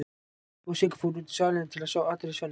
Kobbi og Sigga fóru út í salinn til að sjá atriði Svenna.